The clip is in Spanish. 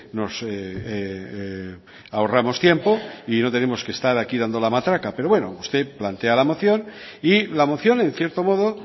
nos ahorramos tiempo y no tenemos que estar aquí dando la matraca pero bueno usted plantea la moción y la moción en cierto modo